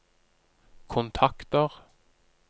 kontakter